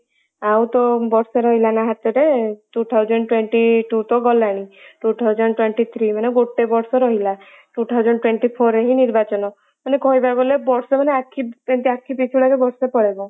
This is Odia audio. ଆଉ ତ ବର୍ଷେ ରହିଲା ନା ହାତରେ two thousand twenty two ତ ଗଲାଣି two thousand twenty three ମାନେ ଗୋଟେ ବର୍ଷ ରହିଲା two thousand twenty four ରେ ହିଁ ନିର୍ବାଚନ ମାନେ କହିବାକୁ ଗଲେ ବର୍ଷେ ମାନେ ଆଖି ଏମିତି ଆଖି ପିଛୁଳାକେ ବର୍ଷେ ପଳେଇବ ।